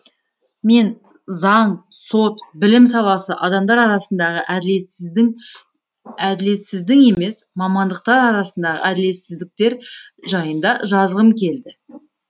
мен заң сот білім саласы адамдар арасындағы әділетсіздің емес мамандықтар арсындағы әділетсіздіктер жайында жазғым келді